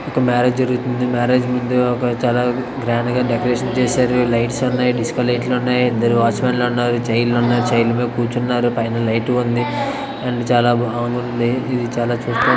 ఒక మ్యారేజ్ జరుగుతుంది మ్యారేజ్ ముందు ఒక చాల గ్రాండ్ గ డెకరేషన్ చేశారు లైట్స్ ఉన్నాయి డిస్కో లైట్స్ ఉన్నాయి ఇద్దరు వాచ్మాన్ లు ఉన్నారు చైర్ లు ఉన్నాయి చైర్ ల మీద కూర్చుని వున్నారు పైన లైట్ లు ఉన్నాయి అండ్ చాల బాగుంది ఇది చాలా చోట్ల --